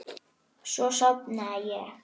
Svo sofnaði ég.